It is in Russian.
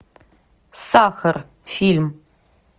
сахар фильм